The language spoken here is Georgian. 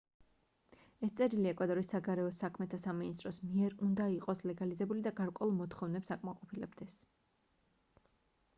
ეს წერილი ეკვადორის საგარეო საქმეთა სამინისტროს მიერ უნდა იყოს ლეგალიზებული და გარკვეულ მოთხოვნებს აკმაყოფილებდეს